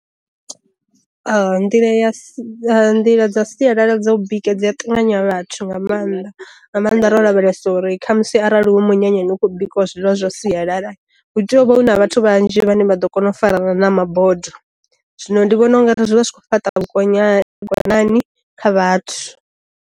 Nḓila ya sa nḓila dza sialala dza u bika dzi ya ṱanganya vhathu nga maanḓa, nga maanḓa ro lavhelesa uri kha musi arali hu munyanya ukho bikiwa zwiḽiwa zwa sialala huteyovha huna vhathu vhanzhi vhane vha ḓo kona u farana na ma bodo, zwino ndi vhona ungari zwi vha zwi kho fhaṱa vhukonya vhukonanani kha vhathu.